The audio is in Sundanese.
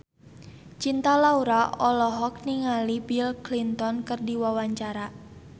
Cinta Laura olohok ningali Bill Clinton keur diwawancara